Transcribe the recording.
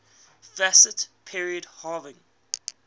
fascist period having